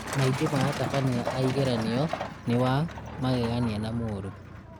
Maingĩ ma atabania a igeranio nĩ wa magegania na mũũru